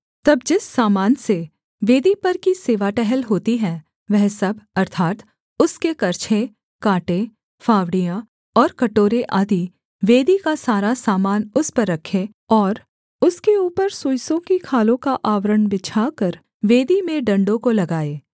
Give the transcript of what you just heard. तब जिस सामान से वेदी पर की सेवा टहल होती है वह सब अर्थात् उसके करछे काँटे फावड़ियाँ और कटोरे आदि वेदी का सारा सामान उस पर रखें और उसके ऊपर सुइसों की खालों का आवरण बिछाकर वेदी में डण्डों को लगाएँ